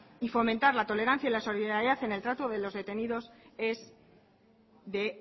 y fomentar la tolerancia y la solidaridad en el trato de los detenidos es de